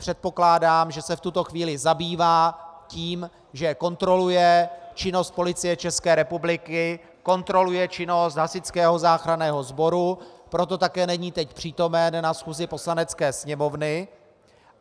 Předpokládám, že se v tuto chvíli zabývá tím, že kontroluje činnost Policie České republiky, kontroluje činnost Hasičského záchranného sboru, proto také není teď přítomen na schůzi Poslanecké sněmovny.